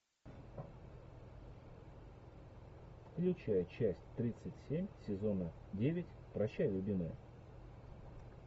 включай часть тридцать семь сезона девять прощай любимая